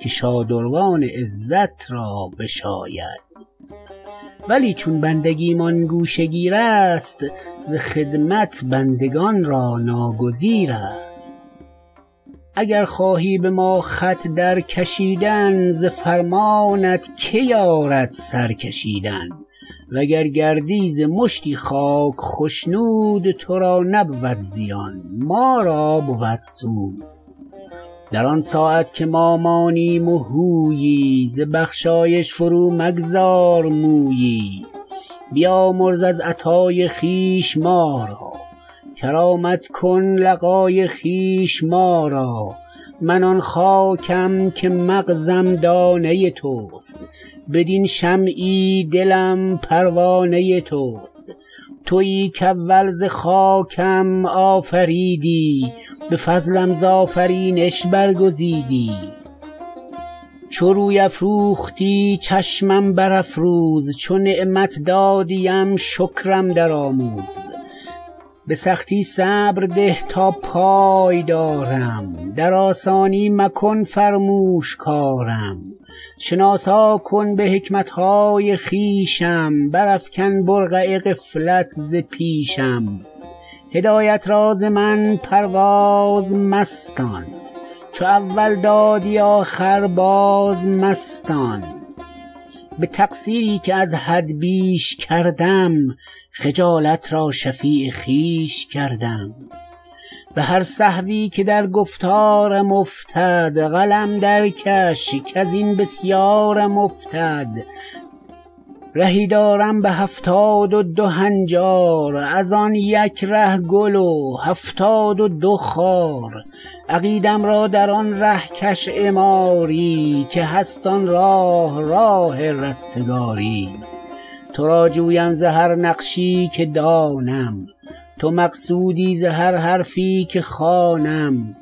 که شادروان عزت را بشاید ولی چون بندگی مان گوشه گیر است ز خدمت بندگان را ناگزیر است اگر خواهی به ما خط در کشیدن ز فرمانت که یارد سر کشیدن و گر گردی ز مشتی خاک خشنود تو را نبود زیان ما را بود سود در آن ساعت که ما مانیم و هویی ز بخشایش فرو مگذار مویی بیامرز از عطای خویش ما را کرامت کن لقا ی خویش ما را من آن خاکم که مغز م دانه توست بدین شمعی دلم پروانه توست تویی که اول ز خاکم آفریدی به فضلم ز آفرینش برگزیدی چو روی افروختی چشمم برافروز چو نعمت دادی ام شکرم در آموز به سختی صبر ده تا پای دارم در آسانی مکن فرموش کارم شناسا کن به حکمت های خویشم برافکن برقع غفلت ز پیشم هدایت را ز من پرواز مستان چو اول دادی آخر باز مستان به تقصیر ی که از حد بیش کردم خجالت را شفیع خویش کردم به هر سهو ی که در گفتار م افتد قلم درکش کزین بسیارم افتد رهی دارم به هفتادو دو هنجار از آن یک ره گل و هفتادودو خار عقیدم را در آن ره کش عماری که هست آن راه راه رستگاری تو را جویم ز هر نقشی که دانم تو مقصود ی ز هر حرفی که خوانم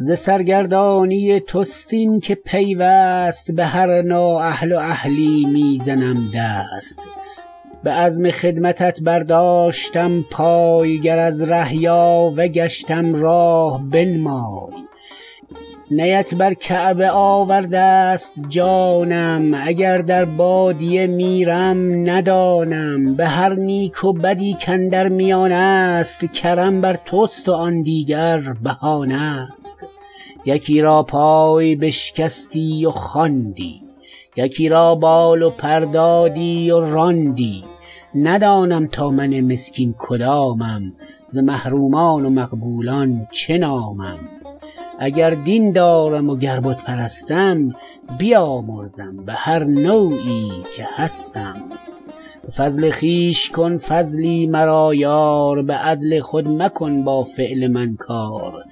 ز سرگردانی توست این که پیوست به هر نااهل و اهلی می زنم دست به عزم خدمتت برداشتم پای گر از ره یاوه گشتم راه بنمای نیت بر کعبه آورده ست جانم اگر در بادیه میرم ندانم به هر نیک و بدی کاندر میانه است کرم بر توست وآن دیگر بهانه است یکی را پای بشکستی و خواندی یکی را بال و پر دادی و راندی ندانم تا من مسکین کدامم ز محرومان و مقبولان چه نامم اگر دین دارم و گر بت پرستم بیامرزم به هر نوعی که هستم به فضل خویش کن فضلی مرا یار به عدل خود مکن با فعل من کار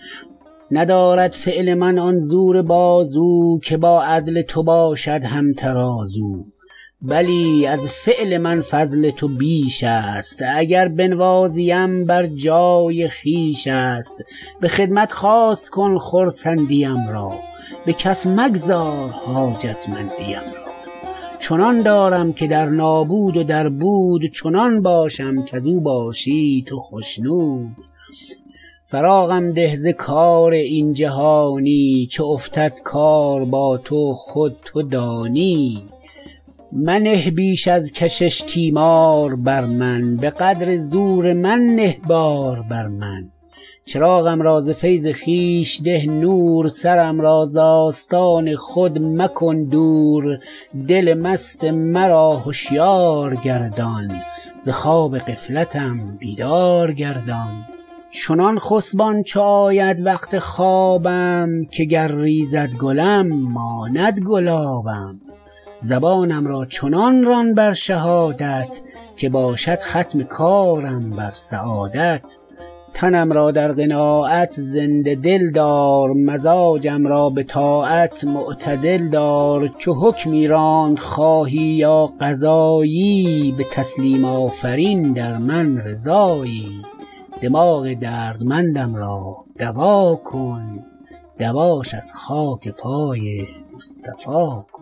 ندارد فعل من آن زور بازو که با عدل تو باشد هم ترازو بلی از فعل من فضل تو بیش است اگر بنوازی ام بر جای خویش است به خدمت خاص کن خرسند ی ام را به کس مگذار حاجتمند ی ام را چنان دارم که در نابود و در بود چنان باشم کزو باشی تو خشنود فراغم ده ز کار این جهانی چو افتد کار با تو خود تو دانی منه بیش از کشش تیمار بر من به قدر زور من نه بار بر من چراغم را ز فیض خویش ده نور سرم را ز آستان خود مکن دور دل مست مرا هشیار گردان ز خواب غفلتم بیدار گردان چنان خسبان چو آید وقت خوابم که گر ریزد گلم ماند گلابم زبانم را چنان ران بر شهادت که باشد ختم کارم بر سعادت تنم را در قناعت زنده دل دار مزاجم را به طاعت معتدل دار چو حکمی راند خواهی یا قضا یی به تسلیم آفرین در من رضا یی دماغ دردمندم را دوا کن دواش از خاک پای مصطفی کن